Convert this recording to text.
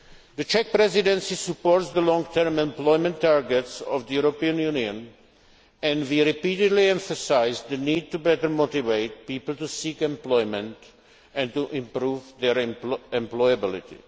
policy. The Czech Presidency supports the long term employment targets of the European Union and has repeatedly emphasised the need to better motivate people to seek employment and to improve their employability.